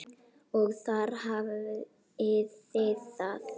Og þar hafið þið það!